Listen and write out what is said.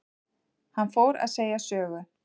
Hann fór að segja sögu.